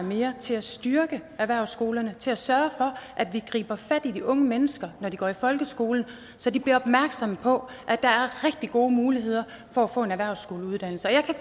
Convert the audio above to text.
mere til at styrke erhvervsskolerne til at sørge for at vi griber fat i de unge mennesker når de går i folkeskole så de bliver opmærksom på at der er rigtig gode muligheder for at få en erhvervsskoleuddannelse og jeg kan